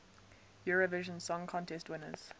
eurovision song contest winners